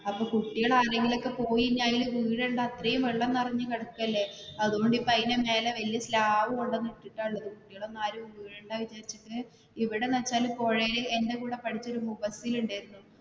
അപ്പൊ കുട്ടികൾ ആരേലും പോയി ഇനി അതില് വീഴേണ്ട അത്രേം വെള്ളം നിറഞ്ഞു കിടക്കല്ലേ അതുകൊണ്ട് ഇപ്പൊ അതിന്റെ മേലെ വെല്യ slab കൊണ്ടുവന്നു ഇട്ടിട്ടാ ഉള്ളത്. ഇവിടെ എന്ന് വെച്ചാൽ പുഴേല് എന്റെ കൂടെ പഠിച്ച ഒരു ഉണ്ടായിരുന്നു